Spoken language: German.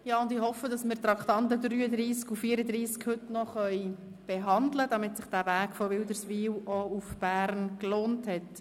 Ich hoffe, dass wir die Traktanden 33 und 34 noch behandeln können, damit sich der Weg von Wilderswil nach Bern gelohnt hat.